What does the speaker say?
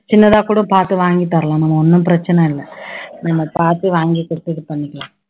சின்னதா கூட பாத்து வாங்கி தரலாம் நம்ம ஒண்ணும் பிரச்சனை இல்ல, நம்ம பாத்து வாங்கி கொடுத்து இது பண்ணிக்கலாம்